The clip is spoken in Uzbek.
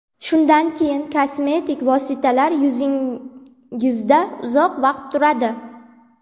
Shundan keyin kosmetik vositalar yuzingizda uzoq vaqt turadi.